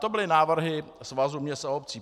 To byly návrhy Svazu měst a obcí.